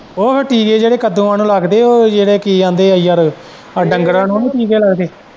ਉਹ ਫੇਰ ਟੀਕੇ ਜਿਹੜੇ ਕੱਦੂਆਂ ਨੂੰ ਲੱਗਦੇ ਏ ਉਹ ਜਿਹੜੇ ਕੀ ਕਹਿੰਦੇ ਏ ਯਾਰ ਆ ਜਿਹੜੇ ਡੰਗਰਾਂ ਨੂੰ ਨੀ ਲੱਗਦਾ।